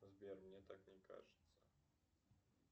сбер мне так не кажется